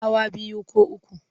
Hawa biyu ko uku.